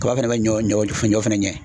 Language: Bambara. Kaba fɛnɛ bɛ ɲɔ ɲɔ ɲɔ fɛnɛ